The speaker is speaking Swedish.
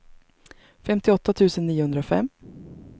femtioåtta tusen niohundrafem